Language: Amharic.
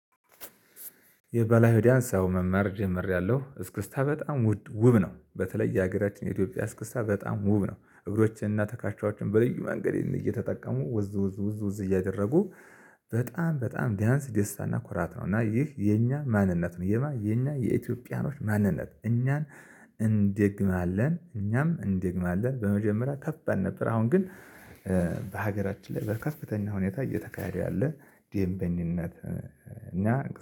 የባህላዊ ዳንስ አዎ መማር ጀምሬያለሁ እስክስታ በጣም ውድ ውብ ነው በተለይ የሀገራችን የኢትዮጵያ እስክስታ በጣም ውብ ነው እግሮችንና ተካቻዎችን በልዩ መንገድ እየተጠቀሙ ወዝ ወዝ ወዝ ወዝ እያደረጉ። በጣም በጣም ዳንስ ደስታና ኩራት ነው። እና ይህ የኛ ማንነት ነው የኛ የኢትዮጵያኖች ማንነት እኛን እንድግም አለን። እኛም እንድግም አለን። በመጀመሪያ ከፍ አልነበረ አሁን ግን በሀገራችን ላይ በከፍተኛ ሁኔታ እየተካሄደ ያለ ዲኤምበኝን እና